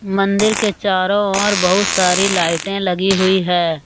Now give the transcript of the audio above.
मंदिर के चारों ओर बहुत सारी लाइटें लगी हुई है।